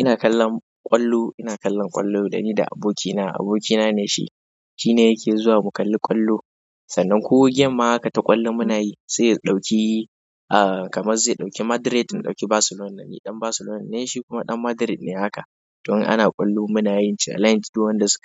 Ina kallon ƙwallo, ina kallon ƙwallo dani da abokina, abokina ne shi, shi ne yake zuwa mu kalli ƙwallo. Sannan ko game ma haka ta ƙwallo muna yi sai ya ɗauki, ah, kamar zai ɗauki Madrid in ɗauki Barcelona. Ni ɗan Barcelona ne, shi kuma ɗan Madrid ne haka sannan ko game ma haka ta ƙwallo muna yi sai ya ɗauki, ah, kamar zai ɗauki